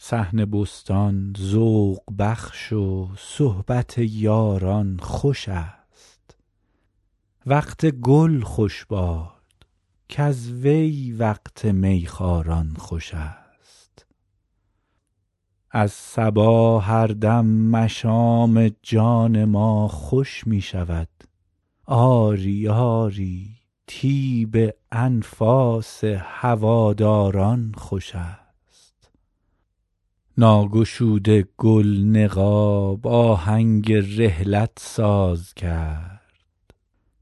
صحن بستان ذوق بخش و صحبت یاران خوش است وقت گل خوش باد کز وی وقت می خواران خوش است از صبا هر دم مشام جان ما خوش می شود آری آری طیب انفاس هواداران خوش است ناگشوده گل نقاب آهنگ رحلت ساز کرد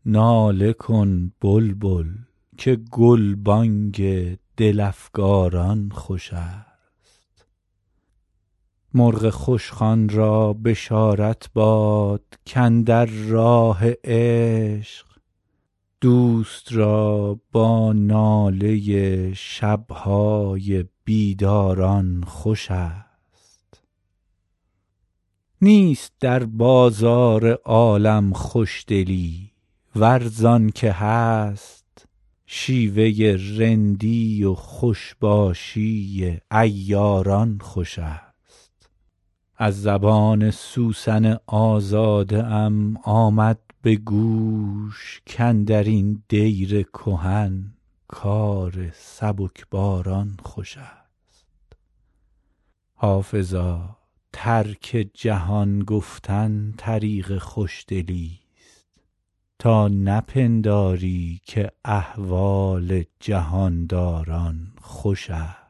ناله کن بلبل که گلبانگ دل افکاران خوش است مرغ خوشخوان را بشارت باد کاندر راه عشق دوست را با ناله شب های بیداران خوش است نیست در بازار عالم خوشدلی ور زان که هست شیوه رندی و خوش باشی عیاران خوش است از زبان سوسن آزاده ام آمد به گوش کاندر این دیر کهن کار سبکباران خوش است حافظا ترک جهان گفتن طریق خوشدلیست تا نپنداری که احوال جهان داران خوش است